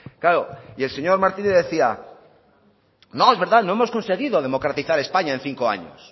claro y el señor martínez decía no es verdad no hemos conseguido democratizar españa en cinco años